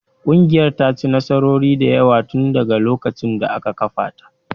Ƙungiyar ta ci nasarori da yawa tun daga lokacin da aka kafa ta